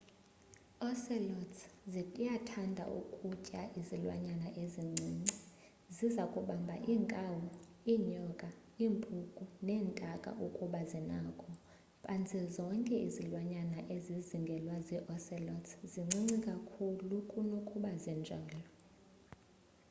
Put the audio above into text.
ocelots ziyathanda ukutya izilwanyana ezincinci ziza kubamba iinkawu iinyoka iimpuku neentaka ukuba zinako phantse zonke izilwanyana ezizingelwa zii-ocelot zincinci kakhulu kunokuba zinjalo